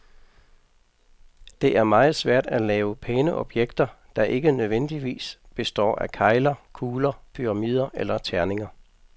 Det er meget svært at lave pæne objekter, der ikke nødvendigvis består af kegler, kugler, pyramider eller terninger.